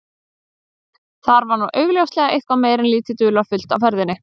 Þar var nú augljóslega eitthvað meira en lítið dularfullt á ferðinni.